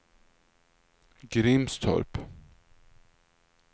Grimstorp